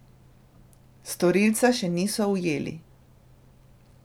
Storilca še niso ujeli.